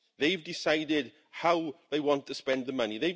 They have decided how they want to spend the money.